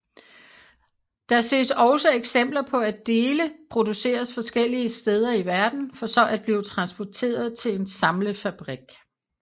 Der ses også eksempler på at dele produceres forskellige steder i verden for så at blive transporteret til en samlefabrik